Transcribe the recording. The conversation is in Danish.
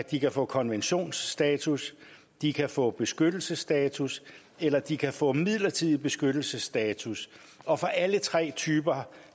de kan få konventionsstatus de kan få beskyttelsesstatus eller de kan få midlertidig beskyttelsesstatus og for alle tre typer